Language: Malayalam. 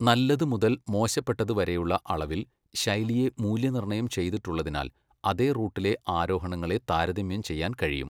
നല്ലത്' മുതൽ 'മോശപ്പെട്ടത്' വരെയുള്ള അളവിൽ ശൈലിയെ മൂല്യനിർണയം ചെയ്തിട്ടുള്ളതിനാൽ, അതേ റൂട്ടിലെ ആരോഹണങ്ങളെ താരതമ്യം ചെയ്യാൻ കഴിയും.